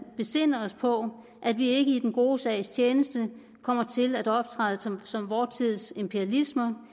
besinde os på at vi ikke i den gode sags tjeneste kommer til at optræde som som vor tids imperialister